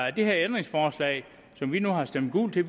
at det her ændringsforslag som vi nu har stemt gult til